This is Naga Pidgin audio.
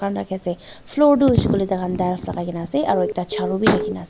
floor tu hoise koi ley ta khan tiles lagai ke na ase aru ekta charu be rakhi ke na ase.